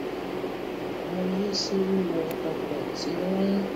mo yí sí wíwọ ọkọ tí ó ń